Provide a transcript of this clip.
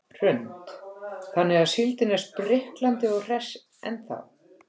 Hrund: Þannig að síldin er spriklandi og hress ennþá?